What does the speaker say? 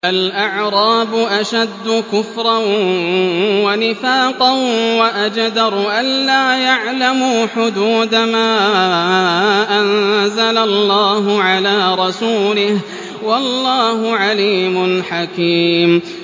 الْأَعْرَابُ أَشَدُّ كُفْرًا وَنِفَاقًا وَأَجْدَرُ أَلَّا يَعْلَمُوا حُدُودَ مَا أَنزَلَ اللَّهُ عَلَىٰ رَسُولِهِ ۗ وَاللَّهُ عَلِيمٌ حَكِيمٌ